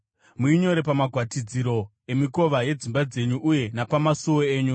Muinyore pamagwatidziro emikova yedzimba dzenyu uye napamasuo enyu.